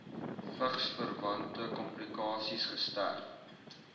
vigsverwante komplikasies gesterf